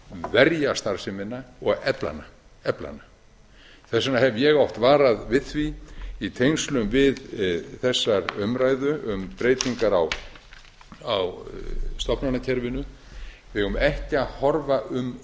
verja starfsemina og efla hana efla hana þess vegna hef ég oft varað við því í tengslum við þessar umræðum um breytingar á stofnanakerfinu við eigum ekki að horfa um